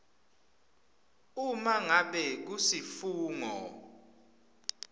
uma ngabe kusifungo